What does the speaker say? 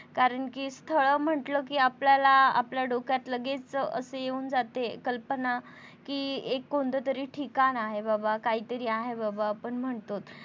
कारण कि स्थळ म्हटलं कि आपल्याला आपल्या डोक्यात लगेच असं येऊन जाते कल्पना कि एक कोणतरी एक ठिकाण आहे बाबा काहीतरी आहे बाबा आपण म्हणतोत.